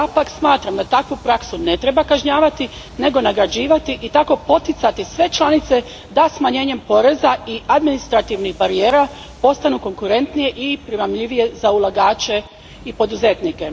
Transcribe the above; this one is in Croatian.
Smatram da takvu praksu ne treba kažnjavati nego nagrađivati i tako poticati sve članice da smanjenjem poreza i administrativnih barijera postanu konkurentnije i primamljivije za ulagače i poduzetnike.